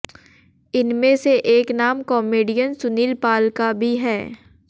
इनमें से एक नाम कॅामेडियन सुनील पाल का भी है